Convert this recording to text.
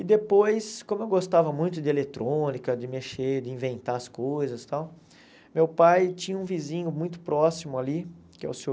E depois, como eu gostava muito de eletrônica, de mexer, de inventar as coisas e tal, meu pai tinha um vizinho muito próximo ali, que é o senhor.